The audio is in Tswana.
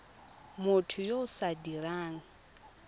motho yo o sa dirang